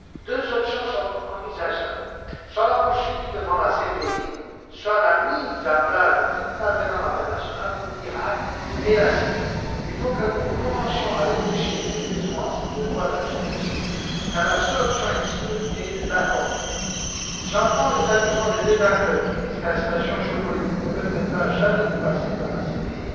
Deux options sont envisageables soit la poursuite devant la CPI, soit la mise en place d'un tribunal pénal international pour l'Irak et la Syrie. Il faut que nous commencions à réfléchir sérieusement à ces deux voies d'action possibles, car l'attentisme n'est plus de mise. J'entends les arguments des détracteurs, qui disent que la situation géopolitique ne permettra jamais de passer par